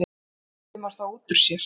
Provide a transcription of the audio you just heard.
Valdimar þá út úr sér.